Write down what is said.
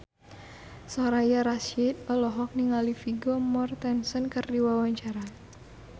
Soraya Rasyid olohok ningali Vigo Mortensen keur diwawancara